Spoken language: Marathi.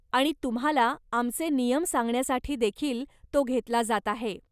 आणि तुम्हाला आमचे नियम सांगण्यासाठी देखील तो घेतला जात आहे.